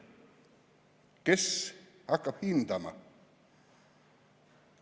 Kes hakkab hindama?